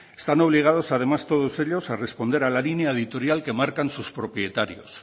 están obligados además todos ellos a responder a la línea editorial que marcan sus propietarios